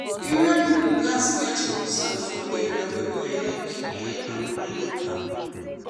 area people gats get cool side for area wey go helep keep head and mind well.